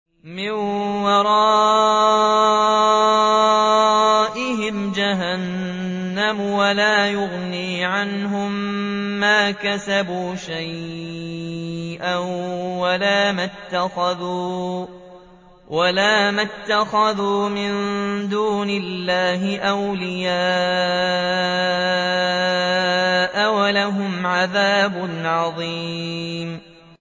مِّن وَرَائِهِمْ جَهَنَّمُ ۖ وَلَا يُغْنِي عَنْهُم مَّا كَسَبُوا شَيْئًا وَلَا مَا اتَّخَذُوا مِن دُونِ اللَّهِ أَوْلِيَاءَ ۖ وَلَهُمْ عَذَابٌ عَظِيمٌ